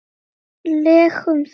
legum þunga.